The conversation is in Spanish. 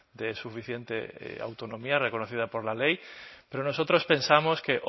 de suficiente autonomía reconocida por la ley pero nosotros pensamos que